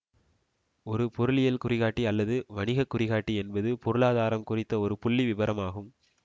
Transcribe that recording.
ஒரு பொருளியல் குறிகாட்டி அல்லது வணிக குறிகாட்டி என்பது பொருளாதாரம் குறித்த ஒரு புள்ளிவிபரம் ஆகும்